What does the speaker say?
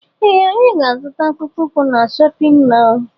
Ee anyị ga -azuta akpụkpọ ukwu na shóppin mol